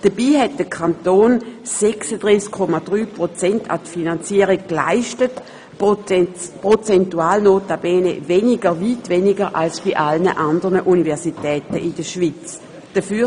Dabei hat der Kanton 36,3 Prozent an die Finanzierung geleistet, prozentual notabene weniger, als dies bei allen anderen Universitäten in der Schweiz der Fall ist.